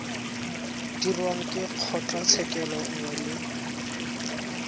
dirwang ke kgotlatshekelo nngwe le